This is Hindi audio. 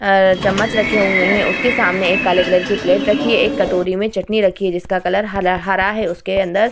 आ चम्मच रखे हुए हैं उसके सामने एक काले कलर के प्लेट राखी है। एक कटोरी में चटनी रखी है जिसका कलर हला हरा है उसके अंदर --